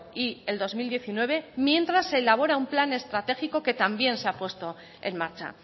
y el dos mil diecinueve mientras se elabora un plan estratégico que también se ha puesto en marcha